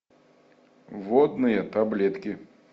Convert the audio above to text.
водные таблетки